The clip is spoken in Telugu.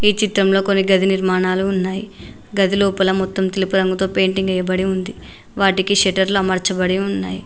ఈ చిత్రంలో కొన్ని గది నిర్మాణాలు ఉన్నాయి గదిలోపల మొత్తం తెలుపు రంగుతో పెయింటింగ్ ఏయబడి ఉంది వాటికి షెటర్లు అమర్చబడి ఉన్నాయి.